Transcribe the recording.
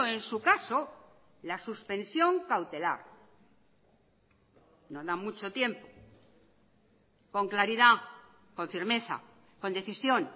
en su caso la suspensión cautelar no da mucho tiempo con claridad con firmeza con decisión